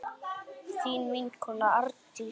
Þín vinkona Arndís.